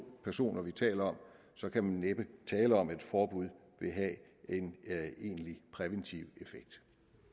personer vi taler om så kan man næppe tale om at et forbud vil have en egentlig præventiv effekt